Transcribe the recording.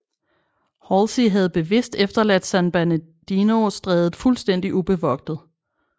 Halsey havde bevidst efterladt San Bernardino Strædet fuldstændig ubevogtet